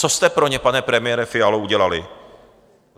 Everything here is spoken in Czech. Co jste pro ně, pane premiére Fialo, udělali?